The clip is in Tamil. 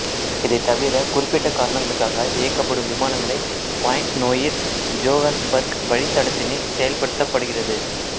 இவை தவிர குறிப்பிட்ட காரணங்களுக்காக இயக்கப்படும் விமானங்களை பாயிண்ட் நோயிர் ஜோஹன்ஸ்பர்க் வழித்தடத்தினில் செயல்படுத்துகிறது